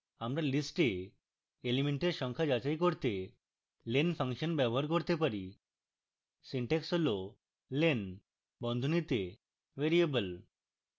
আমরা list we elements সংখ্যা যাচাই করতে len ফাংশন ব্যবহার করতে পারি